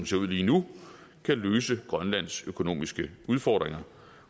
ser ud lige nu kan løse grønlands økonomiske udfordringer